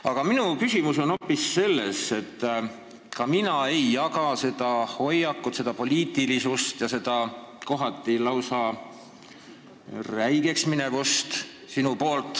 Aga minu küsimus on hoopis selle kohta, et ka mina ei jaga sinu hoiakut, seda poliitilisust ja kohati lausa räigeks minekut.